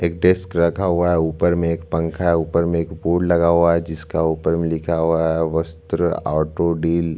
एक डेस्क रखा हुआ है ऊपर में एक पंखा है ऊपर में एक बोर्ड लगा हुआ है जिसका ऊपर में लिखा हुआ है वस्त्र ऑटो डील --